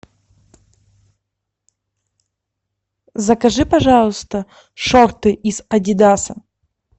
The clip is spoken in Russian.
закажи пожалуйста шорты из адидаса